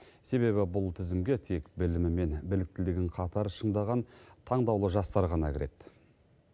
себебі бұл тізімге тек білімі мен біліктілігін қатар шыңдаған таңдаулы жастар ғана кіреді